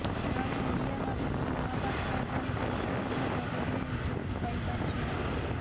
ଜଣେ ଓଡ଼ିଆ ଭାବେ ଶ୍ରୀ ମହାପାତ୍ର ଏଭଳି ଗୁରୁତ୍ୱପୂର୍ଣ୍ଣ ପଦବିରେ ନିଯୁକ୍ତି ପାଇପାାରିଛନ୍ତି